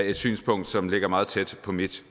et synspunkt som ligger meget tæt på mit